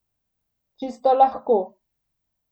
Čisto lahko.